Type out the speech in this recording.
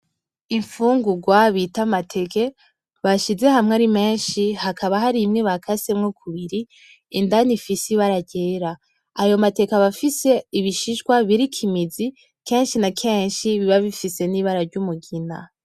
Imfungugwa bita amateke bashize hamwe arimenshi hakaba harimwe bakasemo kubiri indani ifise ibara ryera. Ayo mateke aba afise ibishishwa biriko imizi kenshi na kenshi biba bifise n’ibara ry’umugina.